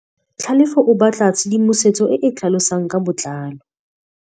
Tlhalefô o batla tshedimosetsô e e tlhalosang ka botlalô.